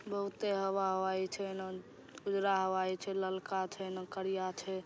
बहुते हवा हवाई छै न उजरा हवाई छै ललका छै। एन करिया छै।